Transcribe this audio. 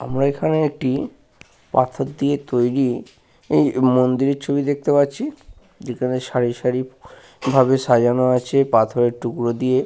আমরা এখানে একটি পাথর দিয়ে তৈরি মন্দিরের ছবি দেখতে পাচ্ছি। যেখানে সারি সারি ভাবে সাজানো আছে পাথরের টুকরো দিয়ে।